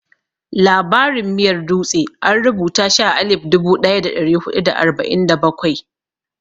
Labarin miyar dutse an rubuta shi a alif dubu ɗaya da ɗari huɗu da arba'in da bakwai.